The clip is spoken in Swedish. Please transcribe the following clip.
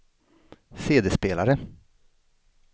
CD-spelare